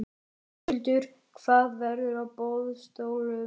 Höskuldur: Hvað verður á boðstólum hér?